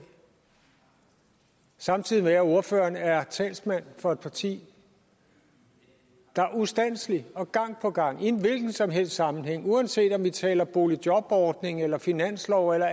samtidig med at ordføreren er talsmand for et parti der ustandselig og gang på gang i en hvilken som helst sammenhæng uanset om vi taler boligjobordning eller finanslov eller